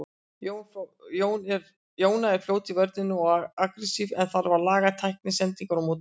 Jóna er fljót í vörninni og agressív en þarf að laga tækni, sendingar og móttöku.